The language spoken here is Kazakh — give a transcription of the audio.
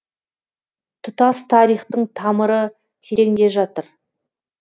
тұтас тарихтың тамыры тереңде жатыр